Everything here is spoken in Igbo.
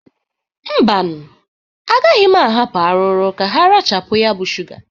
Mbanụ, agaghị m ahapụ arụrụ ka ha rachapụ ya bụ shụga.